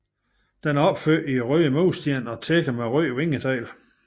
Den er opført i røde mursten og tækket med røde vingetegl